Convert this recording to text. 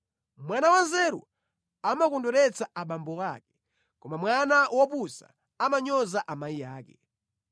Mwana wanzeru amakondweretsa abambo ake, koma mwana wopusa amanyoza amayi ake.